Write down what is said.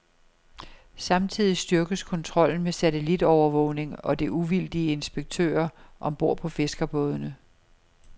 Samtidig styrkes kontrollen med satellitovervågning og uvildige inspektører om bord på fiskerbådene.